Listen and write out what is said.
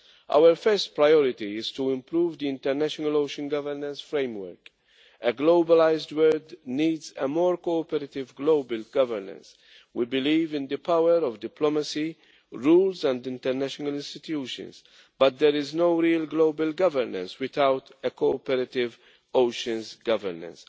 Our first priority is to improve the international ocean governance framework. A globalised world needs a more cooperative global governance. We believe in the power of diplomacy, rules and international institutions, but there is no real global governance without a cooperative oceans governance.